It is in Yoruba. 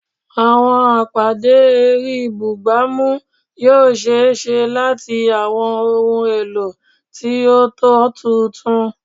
Awọn apade ẹri bugbamu yoo ṣee ṣe lati awọn ohun elo ti o tọ tuntun